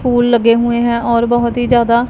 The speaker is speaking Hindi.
फूल लगे हुए हैं और बहुत ही ज्यादा--